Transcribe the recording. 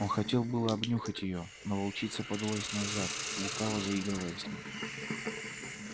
он хотел было обнюхать её но волчица подалась назад лукаво заигрывая с ним